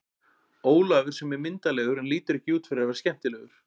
Ólafur sem er myndarlegur en lítur ekki út fyrir að vera skemmtilegur.